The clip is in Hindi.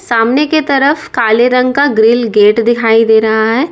सामने की तरफ काले रंग का ग्रिल गेट दिखाई दे रहा है।